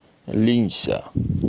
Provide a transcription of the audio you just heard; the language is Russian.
линься